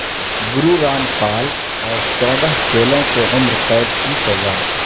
گرو رام پال اور چودہ چیلوں کو عمر قید کی سزا